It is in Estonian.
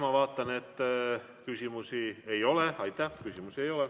Ma vaatan, et küsimusi ei ole.